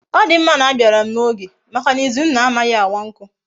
Odimma na abiaram na oge Maka na izunna amaghi awa nku